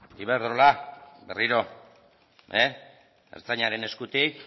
iberdrola berriro ertzaintzaren eskutik